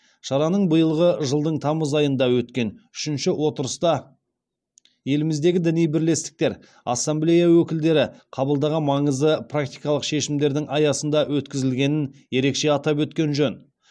шараның биылғы жылдың тамыз айында өткен үшінші отырыста еліміздегі діни бірлестіктер ассамблея өкілдері қабылдаған маңызды практикалық шешімдердің аясында өткізілгенін ерекше атап өткен жөн